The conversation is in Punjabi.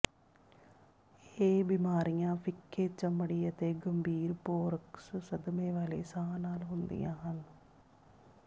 ਇਹ ਬਿਮਾਰੀਆਂ ਫਿੱਕੇ ਚਮੜੀ ਅਤੇ ਗੰਭੀਰ ਪੋਰਕਸ ਸਦਮੇ ਵਾਲੇ ਸਾਹ ਨਾਲ ਹੁੰਦੀਆਂ ਹਨ